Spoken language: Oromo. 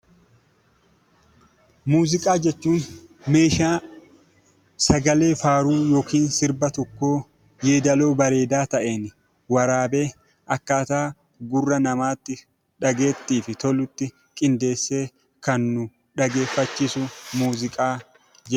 Muuziqaa jechuun meeshaa sagalee faaruu yookaan sirba tokkoo yeedaloo bareedaa ta'een waraabee akkaataa gurra namaatti dhageettiif tolutti qindeessee kan nu dhageeffachiisu muuziqaa jedhama.